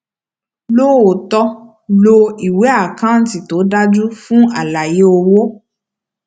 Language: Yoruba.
lóòótọ lo ìwé àkántì tó dájú fún àlàyé owó